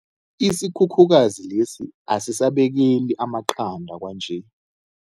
Isikhukhukazi lesi asisabekeli amaqanda kwanje.